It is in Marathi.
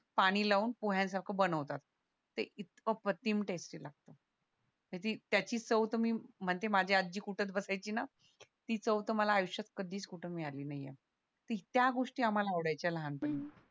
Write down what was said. पाणी लावून पोह्यांसारखं बनवतात ते इतकं अप्रतिम टेस्टी लागत ते त्याची चव तर मी म्हणते माझी आजी कुटत बसायची ना ती चव तर मला आयुष्यात कधीच कुठं मिळाली नाहीये ती त्या गोष्टी आम्हाला आवडायच्या लहानपणी